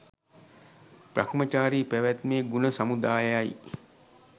බ්‍රහ්මචාරී පැවැත්මේ ගුණ සමුදාය යි.